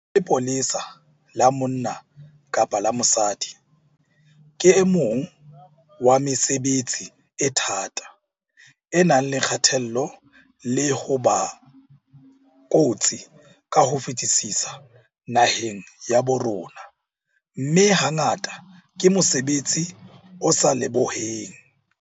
Ho ba lepolesa la monna kapa la mosadi ke o mong wa mesebetsi e thata, e nang le kgatello le ho ba kotsi ka ho fetisisa naheng ya bo rona, mme hangata ke mosebetsi o sa lebohuweng.